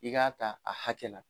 I k'a ta a hakɛ la